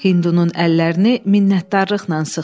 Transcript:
Hindunun əllərini minnətdarlıqla sıxdı.